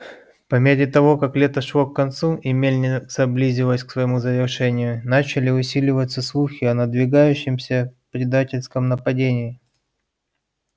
по мере того как лето шло к концу и мельница близилась к своему завершению начали усиливаться слухи о надвигающемся предательском нападении